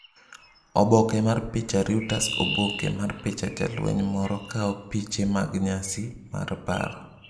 Oboke mar picha Reuters Oboke mar picha Jalweny moro kawo piche mag nyasi mar paro.